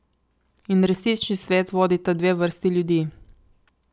In resnični svet vodita dve vrsti ljudi.